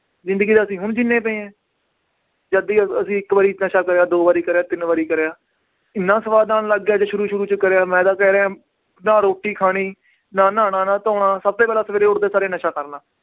ਜ਼ਿੰਦਗੀ ਤਾਂ ਅਸੀਂ ਹੁਣ ਜਿਉਂਦੇ ਪਏ ਹਾਂ ਜੱਦੀ ਅਸੀਂ ਇੱਕ ਵਾਰੀ ਨਸ਼ਾ ਕਰਿਆ ਦੋ ਵਾਰੀ ਕਰਿਆ ਤਿੰਨ ਵਾਰੀ ਕਰਿਆ, ਇੰਨਾ ਸਵਾਦ ਆਉਣ ਲੱਗ ਗਿਆ ਜੇ ਸ਼ੁਰੂ ਸ਼ੁਰੂ 'ਚ ਕਰਿਆ ਮੈਂ ਤਾਂ ਕਹਿ ਰਿਹਾਂ ਨਾ ਰੋਟੀ ਖਾਣੀ, ਨਾ ਨਹਾਉਣਾ, ਨਾ ਧੋਣਾ ਸਭ ਤੋਂ ਪਹਿਲਾਂ ਸਵੇਰੇ ਉੱਠਦੇ ਸਾਰ ਹੀ ਨਸ਼ਾ ਕਰਨਾ